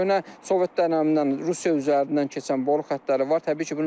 Köhnə sovet dönəmindən Rusiya üzərindən keçən boru xətləri var.